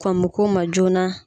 Kɔn mo k'o ma joona.